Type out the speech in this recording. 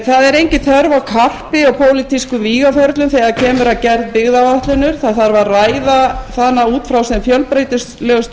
það er engin þörf á karpi í pólitískum vígaferlum þegar kemur að gerð byggðaáætlunar það þarf að ræða hana út frá hinum fjölbreytilegustu